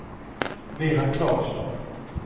Vera Claesson